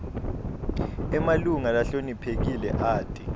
emalunga lahloniphekile ati